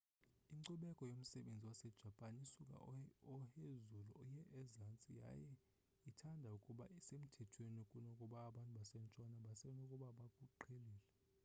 inkcubeko yomsebenzi wasejapan isuka ohezulu iye ezantsi yaye ithanda ukuba semthethweni kunokuba abantu basentshona basenokuba bakuqhelile